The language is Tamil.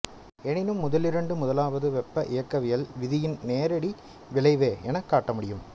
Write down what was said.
எனினும் முதலிரண்டும் முதலாவது வெப்ப இயக்கவியல் விதியின் நேரடி விளைவே எனக் காட்ட முடியும்